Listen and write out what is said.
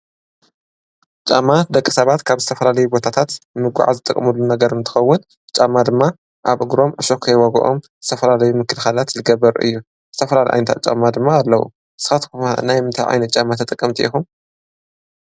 ጫማ ደቂ ሳባት ካብ ዝተፍላለዩ ቦታታት ንምጉዓዝ ዝጥቀምሉ ነገር እንትኸውን ጫማ ድማ ኣብ እግሮም ዕሾክ ይወግኦም ዝተፈላለዩ ምክልኻላት ልገበር እዩ፡፡ ዝተፈላለዩ ዓይንታ ጫማ ድማ ኣለዉ፡፡ ስኻትኩም ኸ ናይ ምንታይ ዓይነት ጫማ ተጠቀምቲ ኢኹም?